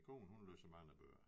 Min kone hun læser mange bøger